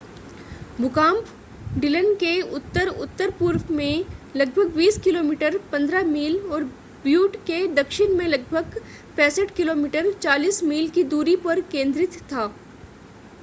भूकंप डिलन के उत्तर-उत्तर पूर्व में लगभग 20 किमी 15 मील और ब्यूट के दक्षिण में लगभग 65 किमी 40 मील की दूरी पर केंद्रित था